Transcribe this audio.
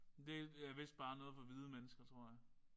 Det er vist bare noget for hvide mennesker tror jeg